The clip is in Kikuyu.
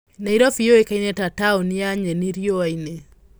Nairobi yũĩkaine ta ''taũni ya nyeni riũa-inĩ.''